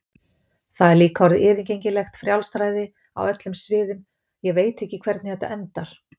Það er líka orðið yfirgengilegt frjálsræði á öllum sviðum, ég veit ekki hvernig þetta endar.